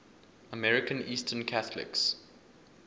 american eastern catholics